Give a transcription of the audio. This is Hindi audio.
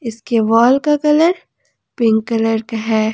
इसके वॉल का कलर पिंक कलर का है।